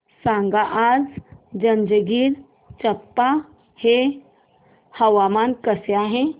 सांगा आज जंजगिरचंपा चे हवामान कसे आहे